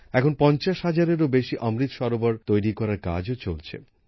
এখন পঞ্চাশ হাজারেরও বেশি অমৃৎ সরোবর তৈরি করার কাজও চলছে